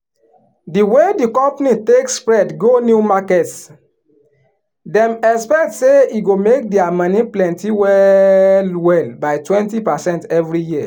di way di company take spread go new markets dem expect say e go make their moni plenty well well by twenty percent every year.